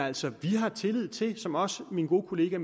altså har tillid til det som også min gode kollega